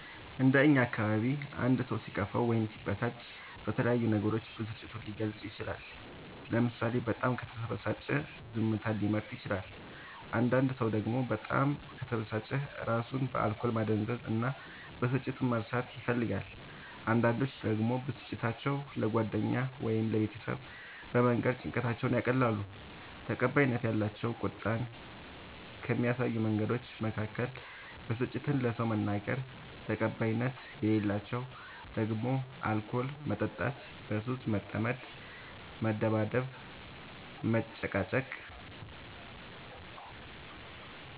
እንደ እኛ አካባቢ አንድ ሰው ሲከፋው ወይም ሲበሳጭ በተለያዩ ነገሮች ብስጭቱን ሊገልፅ ይችላል ለምሳሌ በጣም ከተበሳጨ ዝምታን ሊመርጥ ይችላል አንዳንድ ሰው ደግሞ በጣም ከተበሳጨ እራሱን በአልኮል ማደንዘዝ እና ብስጭቱን መርሳት ይፈልጋል አንዳንዶች ደግሞ ብስጭታቸው ለጓደኛ ወይም ለቤተሰብ በመንገር ጭንቀታቸውን ያቀላሉ። ተቀባይነት ያላቸው ቁጣን ከሚያሳዩ መንገዶች መካከል ብስጭትን ለሰው መናገር ተቀባይነት የሌላቸው ደግሞ አልኮል መጠጣት በሱስ መጠመድ መደባደብ መጨቃጨቅ